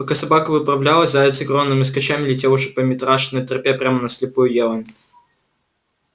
пока собака выправлялась заяц огромными скачками летел уже по митрашиной тропе прямо на слепую елань